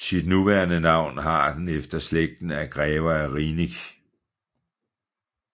Sit nuværende navn har den efter efter slægten af Grever af Rieneck